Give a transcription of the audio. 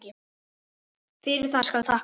Fyrir það skal þakkað.